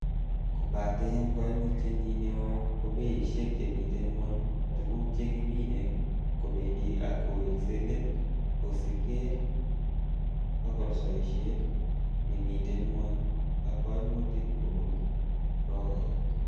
Kobaten koimutyenyin neo ko beishek chemiten gwony, tuguk che kimine kobendi ak kowekse let kosiibge akolsoishet nemiten ngwony ak koimutik kobun brokaek.